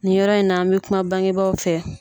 Nin yɔrɔ in na n bɛ kuma bangebaaw fɛ.